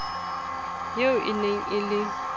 eo e ne e le